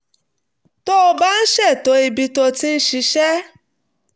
tó bá ń ṣètò ibi tó ti ń ṣiṣẹ́